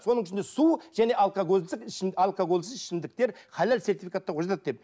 соның ішінде су және алкоголсіз алкоголсіз ішімдіктер халал сертификаттауға жатады деп